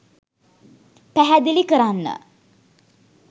පැහැදිලි කරන්න.